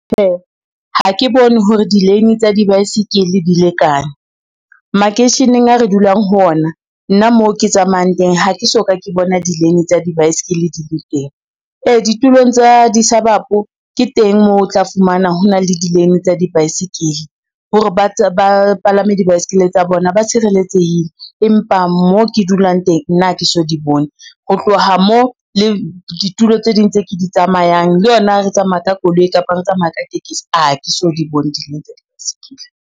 Ha ke bone hore di-lane tsa dibaesekele di lekane, makeisheneng a re dulang ho ona nna mo ke tsamayang teng ha ke so ka ke bona di-lane tsa dibaesekele di le teng. Ee ditulong tsa di-suburb ke teng moo o tla fumana ho na le di-lane tsa dibaesekele, hore ba palame dibaesekele tsa bona ba tshireletsehile. Empa mo ke dulang teng nna ha ke so di bone ho tloha mo le ditulo tse ding tse ke di tsamayang le yona re tsamaya ka koloi kapa re tsamaya ka tekesi, a ke so di bone di-lane tsa di-bicycle.